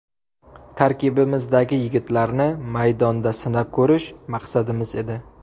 Tarkibimizdagi yigitlarni maydonda sinab ko‘rish maqsadimiz edi.